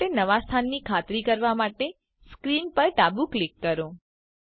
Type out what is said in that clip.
cube માટે નવા સ્થાનની ખાતરી કરવા માટે સ્ક્રીન પર ડાબું ક્લિક કરો